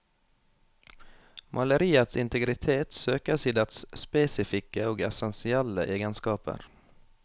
Maleriets integritet søkes i dets spesifikke og essensielle egenskaper.